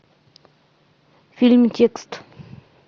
фильм текст